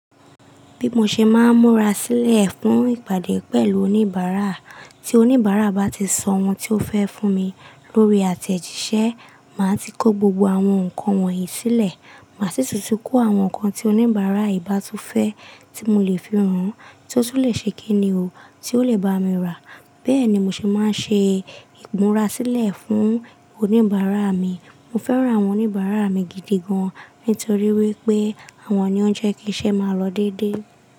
Bí mo ṣe máa ń múra sílẹ̀ fún ìpàdé pẹ̀lú oníbàárà, tí oníbàárà bá ti sọ ohun tí ó fẹ́ fún mi lórí àtẹ̀jíṣẹ́, màá ti kó gbogbo àwọn nǹkan wọ̀nyí sílẹ̀. Màá sì tún tí kó àwọn nǹkan tí oníbàárà yìí bá tú fẹ́ tí mo lè fi hàn án tí ó sì lè ṣe kẹ́ẹ̀ní ọ, tí ó lè bá mi rà. Bẹ́ẹ̀ ni mo sì máa ń ṣe ìmúra sílẹ̀ fún oníbàárà mi. Mo fẹ́ràn àwọn oníbàárà mi gidi gan-an nítorí wípé àwọn ni ó ń jẹ́ kí iṣẹ́ máa lọ dédé.